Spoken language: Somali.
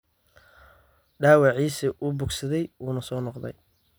Dhaawaciisii ​​wuu bogsaday wuuna soo noqday.